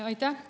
Aitäh!